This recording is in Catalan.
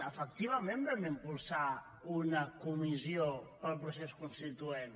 efectivament vam impulsar una comissió per al procés constituent